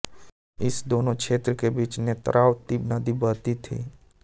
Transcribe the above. इन दोनों क्षेत्रो के बीच नेत्रावती नदी बहती थी